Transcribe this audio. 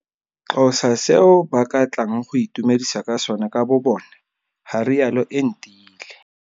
Xhosa seo ba ka tlang go itumedisa ka sone ka bobone, ga rialo Entile.